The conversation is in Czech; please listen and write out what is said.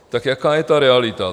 Tak jaká je ta realita?